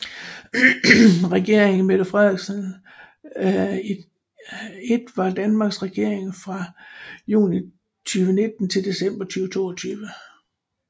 Regeringen Mette Frederiksen I var Danmarks regering fra juni 2019 til december 2022